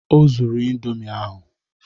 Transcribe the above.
O zuru indomi ahụ